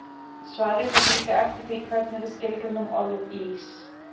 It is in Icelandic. Svarið fer líka eftir því hvernig við skilgreinum orðið ís.